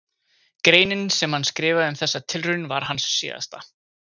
Greinin sem hann skrifaði um þessa tilraun var hans síðasta.